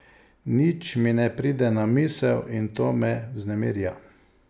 Nič mi ne pride na misel in to me vznemirja.